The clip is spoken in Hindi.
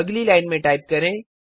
अगली लाइन में टाइप करें